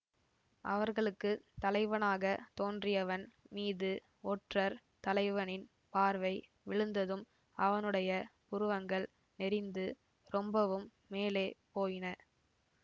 அவர்களுக்கு தலைவனாகத் தோன்றியவன் மீது ஒற்றர் தலைவனின் பார்வை விழுந்ததும் அவனுடைய புருவங்கள் நெரிந்து ரொம்பவும் மேலே போயின